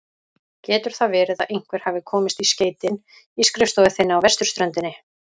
Getur það verið að einhver hafi komist í skeytin í skrifstofu þinni á vesturströndinni?